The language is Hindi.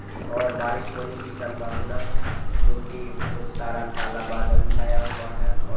और बारिश होने की संभावना है जोकि बहोत सारा काला बादल छाया हुआ है